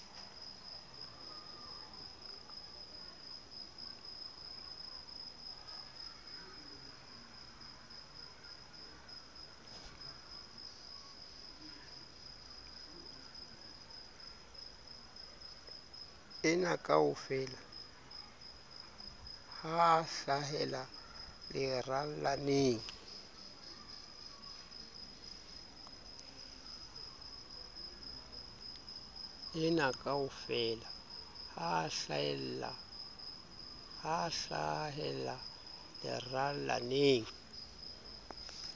enakaofela ha a hlahela lerallaneng